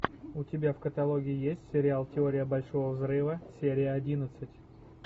у тебя в каталоге есть сериал теория большого взрыва серия одиннадцать